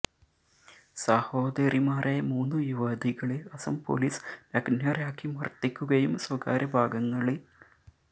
സഹോദരിമാരായ മൂന്ന് യുവതികളെ അസം പോലീസ് നഗ്നരാക്കി മര്ദ്ദിക്കുകയും സ്വകാര്യ ഭാഗങ്ങളില്